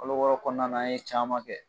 Kalo wɔɔrɔ kɔnɔna an ye caman kɛ